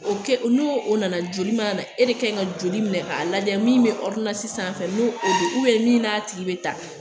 O kɛ n'o nana joli mana na e de kanɲi ka joli minɛ k'a lajɛ min be ɔridonansi sanfɛ n'o o don ubiyɛn min n'a tigi be taa